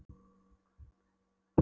Eða hvað. er þetta tapaður leikur?